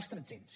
els tretzens